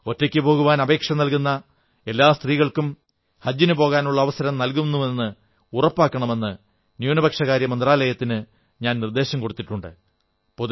ഒറ്റയ്ക്കു പോകുവാൻ അപേക്ഷ നല്കുന്ന എല്ലാ സ്ത്രീകൾക്കും ഹജ്ജിനു പോകാനുള്ള അനുവാദം നല്കുന്നുവെന്ന് ഉറപ്പാക്കണമെന്ന് ന്യൂനപക്ഷകാര്യ മന്ത്രാലയത്തിന് ഞാൻ നിർദ്ദേശം കൊടുത്തിട്ടുണ്ട്